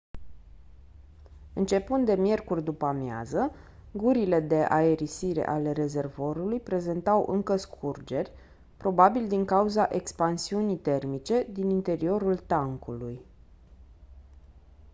începând de miercuri după-amiază gurile de aerisire ale rezervorului prezentau încă scurgeri probabil din cauza expansiunii termice din interiorul tancului